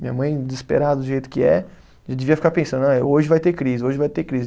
Minha mãe, desesperada do jeito que é, já devia ficar pensando, ah hoje vai ter crise, hoje vai ter crise.